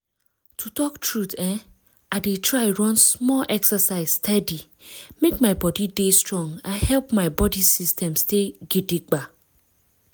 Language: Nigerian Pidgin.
to talk truth[um]i dey try run small exercise steady make my body dey strong and help my body system stand gidigba